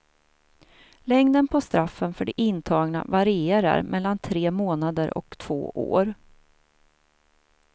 Längden på straffen för de intagna varierar mellan tre månader och två år.